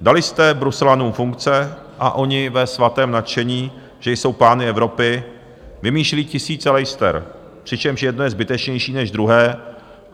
Dali jste bruselanům funkce a oni ve svatém nadšení, že jsou pány Evropy, vymýšlí tisíce lejster, přičemž jedno je zbytečnější než druhé.